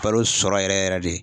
Kalo sɔrɔ yɛrɛ yɛrɛ de